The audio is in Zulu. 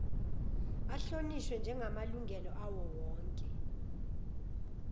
ahlonishwe njegamalungelo awowonke